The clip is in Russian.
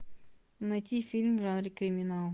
найти фильм в жанре криминал